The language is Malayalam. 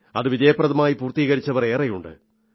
അത് വിജയപ്രദമായി പൂർത്തികരിച്ചവർ ഏറെയുണ്ട്